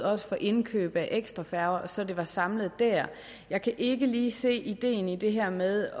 også for indkøb af ekstra færger så det var samlet der jeg kan ikke lige se ideen i det her med